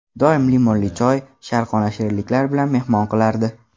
Doim limonli choy, sharqona shirinliklar bilan mehmon qilardi.